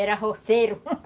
Era roceiro